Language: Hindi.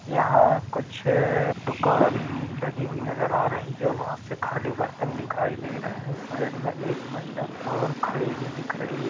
यहाँ कुछ दुकान लगी हुई नजर आ रही जो बहोत से खाली बर्तन दिखाई रहे हैं साइड में एक महिला और खड़ी हुई रही हैं ।